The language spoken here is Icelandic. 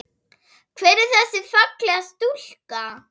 Hver er þessi fallega stúlka?